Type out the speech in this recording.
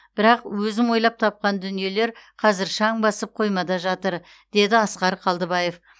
бірақ өзім ойлап тапқан дүниелер қазір шаң басып қоймада жатыр деді асқар қалдыбаев